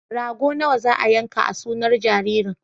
Rago nawa za a yanka a sunar jaririn?